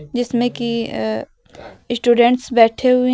जिसमें कि स्टूडेंटस बैठे हुए।